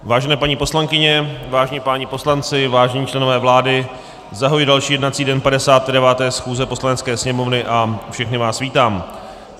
Vážené paní poslankyně, vážení páni poslanci, vážení členové vlády, zahajuji další jednací den 59. schůze Poslanecké sněmovny a všechny vás vítám.